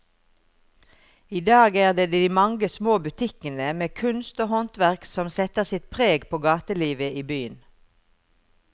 I dag er det de mange små butikkene med kunst og håndverk som setter sitt preg på gatelivet i byen.